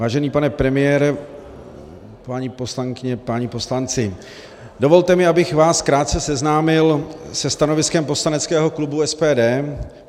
Vážený pane premiére, paní poslankyně, páni poslanci, dovolte mi, abych vás krátce seznámil se stanoviskem poslaneckého klubu SPD.